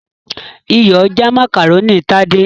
Iyọ̀ já macaroni Tade's.